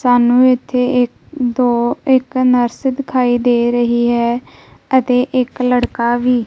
ਸਾਨੂੰ ਇਥੇ ਇੱਕ ਦੋ ਇੱਕ ਨਰਸ ਦਿਖਾਈ ਦੇ ਰਹੀ ਹੈ ਅਤੇ ਇੱਕ ਲੜਕਾ ਵੀ।